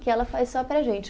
Que ela faz só para a gente.